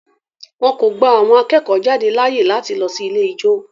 Wọn kò gba àwọn akẹ́kọ̀ọ́-jáde láàyè láti lọ sí ilé ijó.